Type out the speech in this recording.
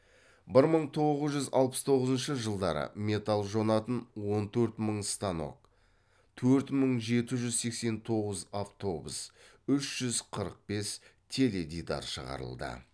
бір мың тоғыз жүз алпыс тоғызыншы жылдары металл жонатын он төрт мың станок төрт мың жеті жүз сексен тоғыз автобус үш жүз қырық бес теледидар шығарылды